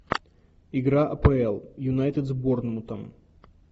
игра апл юнайтед с борнмутом